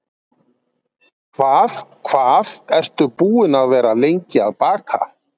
Hvað hvað ertu búin að vera lengi að baka?